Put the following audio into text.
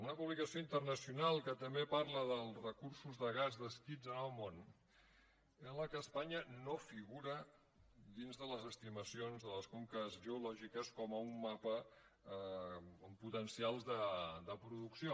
una publicació internacional que també parla dels recursos de gas descrits en el món en la qual espanya no figura dins de les estimacions de les conques geològiques com un mapa amb potencials de producció